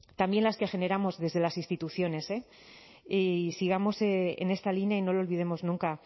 también las que generamos desde las instituciones eh y sigamos en esta línea y no lo olvidemos nunca